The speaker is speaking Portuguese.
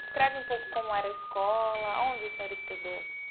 Descreve um pouco como era a escola, aonde o senhor estudou.